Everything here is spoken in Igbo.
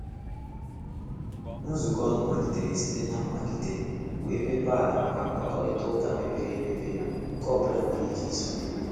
Nzukọ nụ malitere site na mmelite, wee mepee ala maka mkpakorịta ụka mepere emepe nke ọbụla nwere ike isonye.